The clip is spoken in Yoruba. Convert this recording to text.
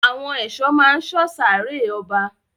Àwọn èso ma sọ sáré ọba.